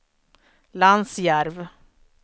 Lansjärv